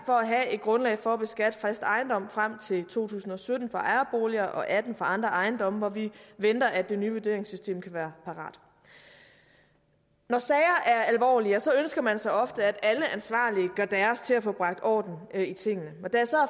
for at have et grundlag for at beskatte fast ejendom frem til to tusind og sytten på ejerboliger og atten på andre ejendomme hvor vi venter at det nye vurderingssystem kan være parat når sager er alvorlige ja så ønsker man sig ofte at alle ansvarlige gør deres til at få bragt orden i tingene